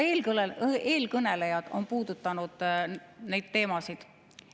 Ka eelkõnelejad on puudutanud neid teemasid.